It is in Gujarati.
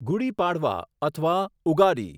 ગુડી પાડવા અથવા ઉગાડી